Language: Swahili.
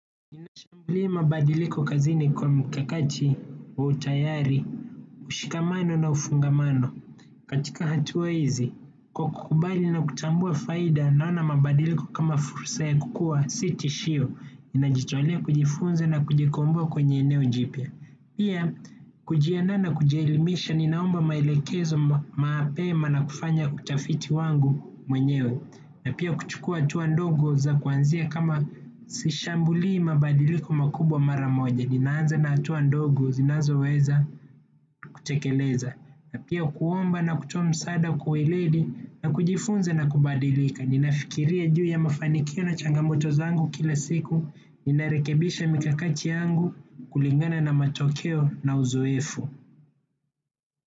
Mi mabadiliko kazini kwa mkakati utayari ushikamano na ufungamano. Katika hatua hizi, kwa kukubali na kutambua faida, naona mabadiliko kama fursa ya kukua sitishio ninajitolea kujifunza na kujikomboa kwenye eneo jipya. Pia, kujiandaa na kujielimisha, ninaomba mailekezo mapema na kufanya utafiti wangu mwenyewe. Na pia kuchukua hatua ndogo za kuanzia kama sishambulii mabadiliko makubwa mara moja. Ninaanza na hatua ndogo zinazoweza kutekeleza na pia kuomba na kutoa msaada kwa weledi na kujifunza na kubadilika. Ninafikiria juu ya mafanikio na changamoto zangu kila siku. Ninarekebisha mikakati yangu kulingana na matokeo na uzoefu.